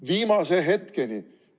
Viimase hetkeni!